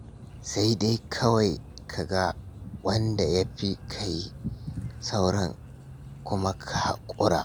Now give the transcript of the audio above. Sai dai kawai ka ga wanda ya fi ka yi, sauran kuma ka haƙura.